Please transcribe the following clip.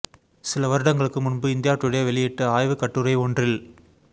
சில வருடங்களுக்கு முன்பு இந்தியா டுடே வெளியிட்ட ஆய்வுக் கட்டுரை ஒன்றில்